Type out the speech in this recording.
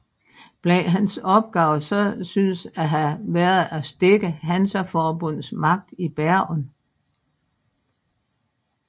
Blandt hans opgaver synes at have været at stække Hansaforbundets magt i Bergen